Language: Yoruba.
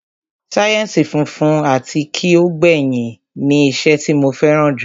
sáyẹ́ǹsì funfun ati ki o gbẹyin ni iṣẹ́ tí mo fẹ́ràn jù